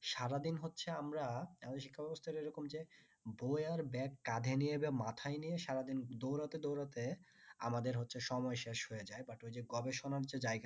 সারাদিন হচ্ছে আমরা আমাদের শিক্ষা ব্যবস্থা এরকম যে বই আর ব্যাগ কাঁধে নিয়ে বা মাথায় নিয়ে সারাদিন দৌড়াতে দৌড়াতে আমাদের হচ্ছে সময় শেষ হয়ে যাই but গবেষণার যে জায়গাটা